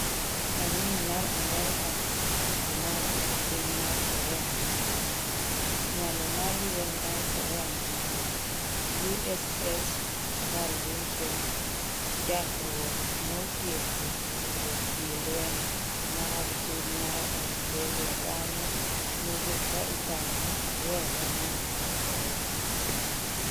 Paniny mar Amerika omaki e piny mar korea manyandwat. Nyalo mar lweny mar Korea manyandwat. USS Carl Vinson chakruok notieko ikruok gii jolweny mag piny mar Australia bang'e nowuok ka iparo ni oryeyo dho nam mar Korea